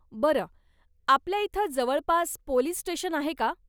बरं, आपल्या इथं जवळपास पोलीस स्टेशन आहे का?